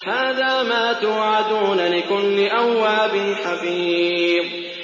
هَٰذَا مَا تُوعَدُونَ لِكُلِّ أَوَّابٍ حَفِيظٍ